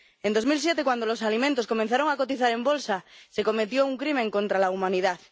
En 2007, cuando los alimentos comenzaron a cotizar en bolsa se cometió un crimen contra la humanidad.